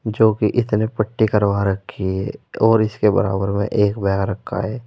जो कि इतने पट्टी करवा रखी है और इसके बराबर में एक बैग रखा है।